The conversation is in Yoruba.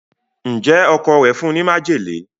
Njé Ọkọ rẹ fún ní májèlé?